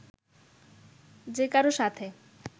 যেকারও সাথে